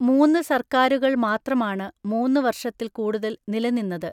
മൂന്ന് സർക്കാരുകൾ മാത്രമാണ് മൂന്ന് വർഷത്തിൽ കൂടുതൽ നിലനിന്നത്.